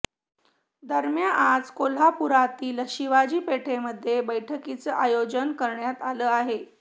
दरम्या आज कोल्हापुरातील शिवाजी पेठेमधे बैठकीचं आयोजन करण्यात आलं आहे